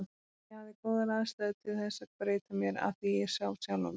Ég hafði góðar aðstæður til þess að breyta mér, af því ég sá sjálfan mig.